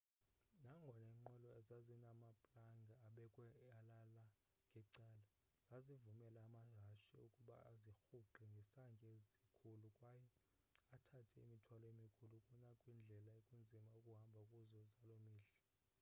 nangona iinqwelo zazinamaplanga abekwe alala ngecala zazivumela amahashe ukuba azirhuqe ngesantya esikhulu kwaye athathe imithwalo emikhulu kunakwindlela ekunzima ukuhamba kuzo zaloo mihla